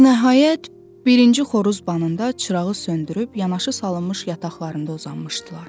Və nəhayət, birinci xoruz banında çırağı söndürüb yanaşı salınmış yataqlarında uzanmışdılar.